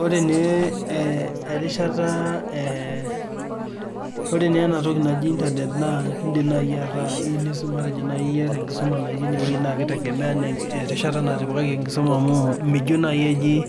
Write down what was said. Ore naa erishata, ore naa ena toki naji internet naa indim nai ataa iyeu nisumare matejo ieta nkisuma natii ineweji naa keitegemea erishata natipikaki enkisuma amuu mijo naii eji